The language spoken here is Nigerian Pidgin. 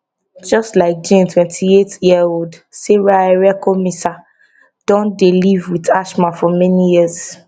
just like jane twenty eight yearold sarah erekosima don dey live wit asthma for many years